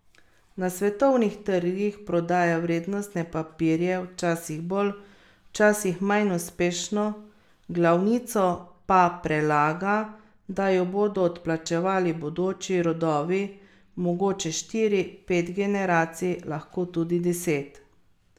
Na svetovnih trgih prodaja vrednostne papirje, včasih bolj, včasih manj uspešno, glavnico pa prelaga da jo bodo odplačevali bodoči rodovi, mogoče štiri, pet generacij, lahko tudi deset.